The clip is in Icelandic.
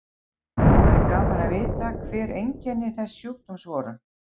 Það væri gaman að vita hver einkenni þess sjúkdóms voru.